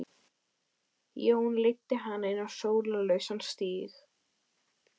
Jón leiddi hana inn á sólarlausan stíg.